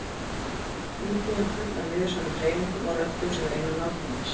Íbúðin full af niðursoðnum hreyfingum og röddum sem reyna að ná til manns.